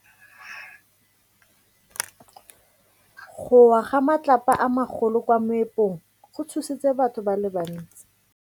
Go wa ga matlapa a magolo ko moepong go tshositse batho ba le bantsi.